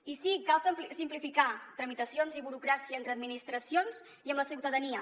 i sí cal simplificar tramitacions i burocràcia entre administracions i amb la ciutadania